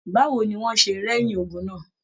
Báwo ní wọn ṣe rẹyin ogún náà?